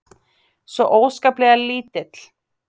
Svo óskaplega lítill.